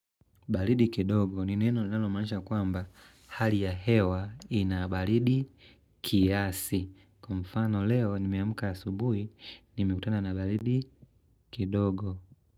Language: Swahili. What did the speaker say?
Baridi kidogo ni neno linalomaanisha kwamba hali ya hewa ina baridi kiasi. Kwa mfano leo nimeamka asubuhi, nimekutana na baridi kidogo.